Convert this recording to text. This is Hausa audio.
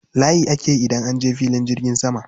Layi ake yi idan an je filin jirgin sama.